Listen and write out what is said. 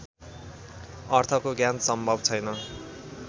अर्थको ज्ञान सम्भव छैन